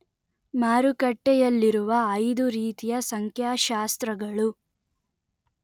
ಮಾರುಕಟ್ಟೆಯಲ್ಲಿರುವ ಐದು ರೀತಿಯ ಸಂಖ್ಯಾಶಾಸ್ತ್ರಗಳು